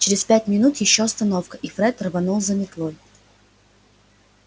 через пять минут ещё остановка и фред рванул за метлой